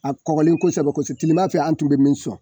A kɔgɔlen kosɛbɛ kos tilema fɛ an tun bɛ min sɔn